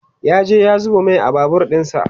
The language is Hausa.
ya je ya zuba Mai a Babur ɗinsa